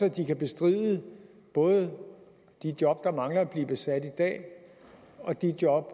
at den kan bestride både de job der mangler at blive besat i dag og de job